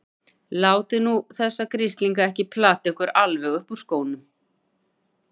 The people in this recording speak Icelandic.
Látið nú þessa grislinga ekki plata ykkur alveg upp úr skónum!